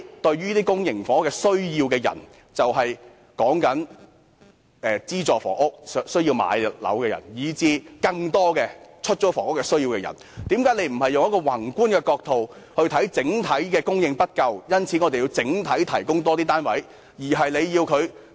對於公營房屋有需求的市民，即有需要購買資助房屋的人，以及更多對出租房屋有需求的人，為何政府不從宏觀角度考慮整體供應不足，因此有需要整體地提供更多單位呢？